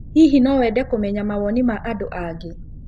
Hihi no wende kũmenya mawoni ma andũ angĩ?